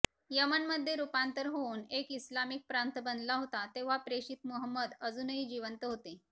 यमन मध्ये रूपांतर होऊन एक इस्लामिक प्रांत बनला होता तेव्हा प्रेषित मुहम्मद अजूनही जिवंत होते